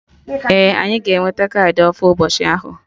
Ee, anyị ga-enwete kaadị ofu ụbọchị ahụ